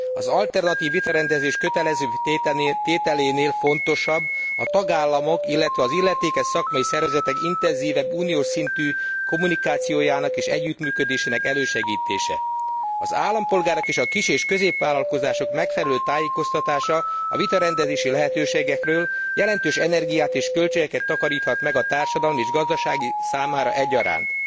Az alternatív vitarendezés kötelezővé tételénél fontosabb a tagállamok, illetve az illetékes szakmai szervezetek intenzívebb uniós szintű kommunikációjának és együttműködésének elősegítése. Az állampolgárok és a kis és középvállalkozások megfelelő tájékoztatása a vitarendezési lehetőségekről jelentős energiát és költségeket takaríthat meg a társadalom és gazdaság számára egyaránt.